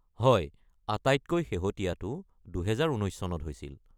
হয়, আটাইতকৈ শেহতীয়াটো ২০১৯ চনত হৈছিল।